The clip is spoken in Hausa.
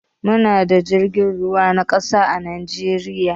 Mu na da jirgin ruwa na ƙasa a najeriya